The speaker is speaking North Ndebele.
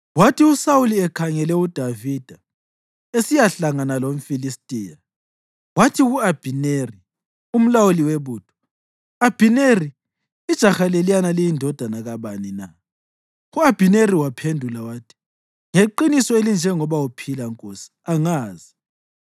Kwathi uSawuli ekhangele uDavida esiyahlangana lomFilistiya, wathi ku-Abhineri, umlawuli webutho, “Abhineri, ijaha leliyana liyindodana kabani na?” U-Abhineri waphendula wathi, “Ngeqiniso elinjengoba uphila, nkosi, angazi.”